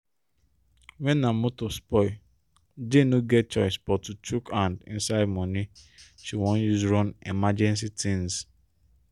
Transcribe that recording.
when her motor spoli jane no get choice but to chuk hand inside money she won use run emergency tins